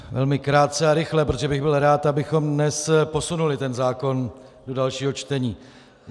Velmi krátce a rychle, protože bych byl rád, abychom dnes posunuli ten zákon do dalšího čtení.